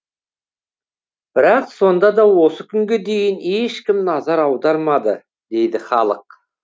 бірақ сонда да осы күнге дейін ешкім назар аудармады дейді халық